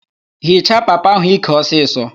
Hichaa papa ahụ íkè ọsịsọ!